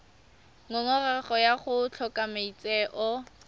ngongorego ya go tlhoka maitseo